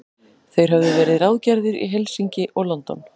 Þeir höfðu verið ráðgerðir í Helsinki og London.